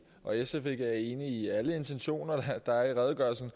og sf ikke er enige i alle intentionerne der er i redegørelsen